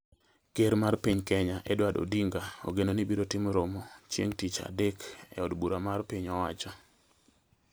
Ker mar piny Kenya Edward Odinga ogeno ni biro timo romo chieng' tich adek e od bura mar piny owacho